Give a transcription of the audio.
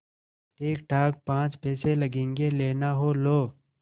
ठीकठाक पाँच पैसे लगेंगे लेना हो लो